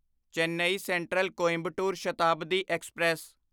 Chennai Central Coimbatore Shatabdi express